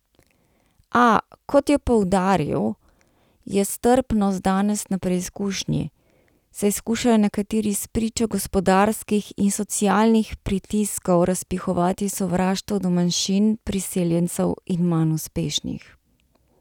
A, kot je poudaril, je strpnost danes na preizkušnji, saj skušajo nekateri spričo gospodarskih in socialnih pritiskov razpihovati sovraštvo do manjšin, priseljencev in manj uspešnih.